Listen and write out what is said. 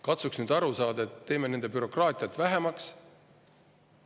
Katsuks nüüd aru saada, et teeme nende bürokraatiat vähemaks.